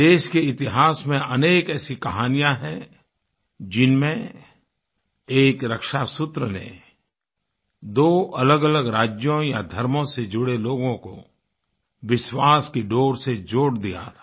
देश के इतिहास में अनेक ऐसी कहानियाँ हैं जिनमें एक रक्षा सूत्र ने दो अलगअलग राज्यों या धर्मों से जुड़े लोगों को विश्वास की डोर से जोड़ दिया था